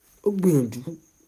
ó gbìyànjú